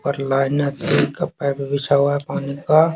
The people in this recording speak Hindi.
परिणाम हैके कपडा भी बिछा हुआ है एक पानी का--